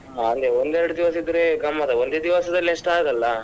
ಹಾ ಅಂದ್ರೆ ಒಂದು ಎರಡು ದಿವಸ ಇದ್ರೆ ಗಮ್ಮತ್ ಆ ಒಂದೇ ದಿವಸದಲ್ಲಿ ಅಷ್ಟು ಆಗಲ್ಲ.